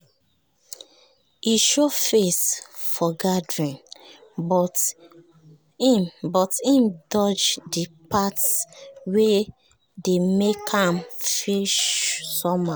he show face for the gathering but him but him dodge the parts wey dey make am feel somehow